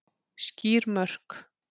Skýr mörk